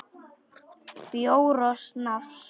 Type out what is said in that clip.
Bjór og snafs.